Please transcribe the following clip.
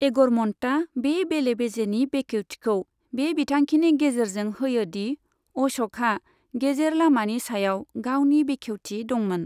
एगरम'न्टआ बे बेले बेजेनि बेखेवथिखौ बे बिथांखिनि गेजेरजों होयोदि अशकहा गेजेर लामानि सायाव गावनि बेखेवथि दंमोन।